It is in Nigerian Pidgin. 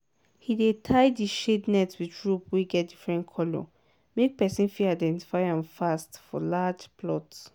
he dey tie di shade net with rope wey get different colour make person fit identify am fast for large plot.